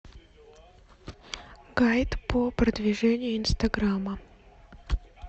гайд по продвижению инстаграма